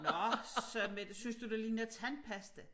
Nå sagde Mette synes du det ligner tandpasta